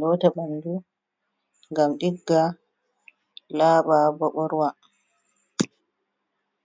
lota ɓandu ngam ɗigga laba bo ɓorwa.